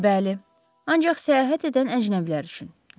Bəli, ancaq səyahət edən əcnəbilər üçün.